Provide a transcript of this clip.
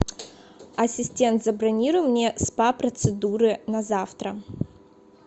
ассистент забронируй мне спа процедуры на завтра